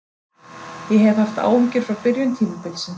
Ég hef haft áhyggjur frá byrjun tímabilsins.